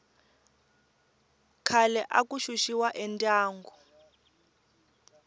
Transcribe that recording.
khale aku xuxiwa endyangu